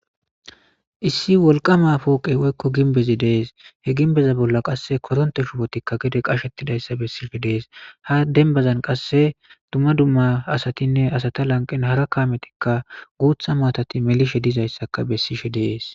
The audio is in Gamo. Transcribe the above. Issi wolqama pooqey woykko ginbezi dees he ginbeza bolla qasse koronte shubotikka gede qashettidayssa bessishe dees ha denbazan qasse dumma dumma asatinne asata lanqen hara kaametikka guutha maatati melishe dizayssaka bessishe dees.